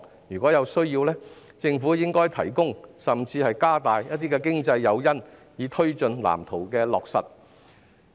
如有需要，政府應提供甚至加大經濟誘因，以推進藍圖的落實。